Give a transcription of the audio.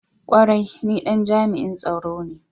Kwarai! ni Dan jami'i tsaro ne.